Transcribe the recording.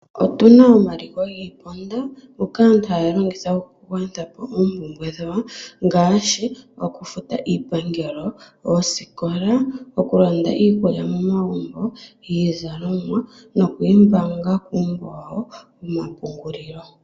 Otuna omaliko giiponda ngoka aantu haya longitha oku gwanitha po oompumbwe dhawo ngaashi oku futa iipangelo, oosikola, oku landa iikulya momagumbo, iizalomwa noku yi mbaanga kuumbo wawo womapungulilo.